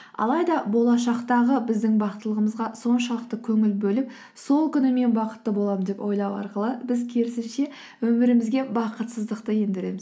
алайда болашақтағы біздің бақыттылығымызға соншалықты көңіл бөліп сол күні мен бақытты боламын деп ойлау арқылы біз керісінше өмірімізге бақытсыздықты ендіреміз